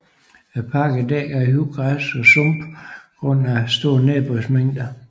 Parken er dækket af højt græs og sumpe grund af store nedbørsmængder